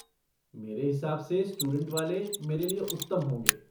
मेरे हिसाब से स्टूडेंट वाले मेरे लिए उत्तम होंगे।